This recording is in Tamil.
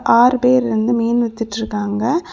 ஆறு பேரு வந்து மீன் வித்துட்டு இருக்காங்க.